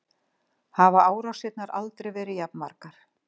Hafa árásirnar aldrei verið jafn margar